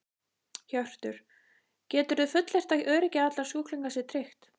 Hjörtur: Geturðu fullyrt að öryggi allra sjúklinga sé tryggt?